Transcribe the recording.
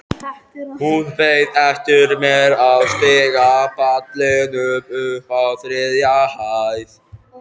Hún beið eftir mér á stigapallinum uppi á þriðju hæð.